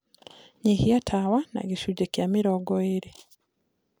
nyĩhĩa tawa na gĩcũnjĩ kĩa mĩrongo ĩrĩ